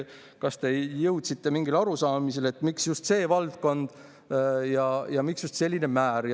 Kas te jõudsite mingile arusaamisele, miks just see valdkond ja miks just selline määr?